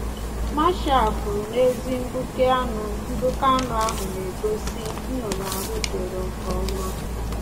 Marshall kwuru na ezi mgbuke anu mgbuke anu ahụ na-egosi - Nnunu ahụdoro nke ọma.